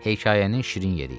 Hekayənin şirin yeri idi.